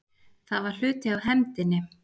Það var hluti af hefndinni.